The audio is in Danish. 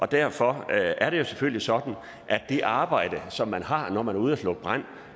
derfor er det jo selvfølgelig sådan at det arbejde som man har når man er ude og slukke brand